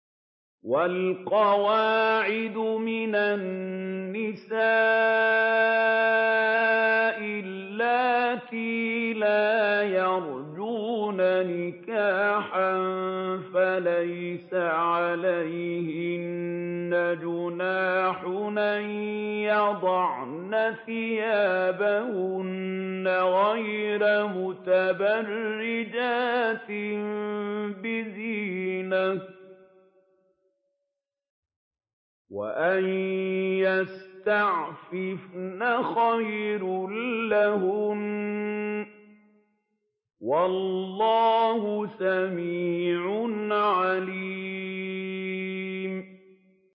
وَالْقَوَاعِدُ مِنَ النِّسَاءِ اللَّاتِي لَا يَرْجُونَ نِكَاحًا فَلَيْسَ عَلَيْهِنَّ جُنَاحٌ أَن يَضَعْنَ ثِيَابَهُنَّ غَيْرَ مُتَبَرِّجَاتٍ بِزِينَةٍ ۖ وَأَن يَسْتَعْفِفْنَ خَيْرٌ لَّهُنَّ ۗ وَاللَّهُ سَمِيعٌ عَلِيمٌ